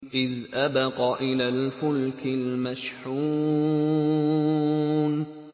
إِذْ أَبَقَ إِلَى الْفُلْكِ الْمَشْحُونِ